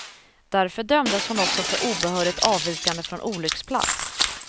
Därför dömdes hon också för obehörigt avvikande från olycksplats.